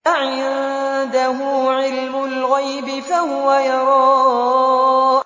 أَعِندَهُ عِلْمُ الْغَيْبِ فَهُوَ يَرَىٰ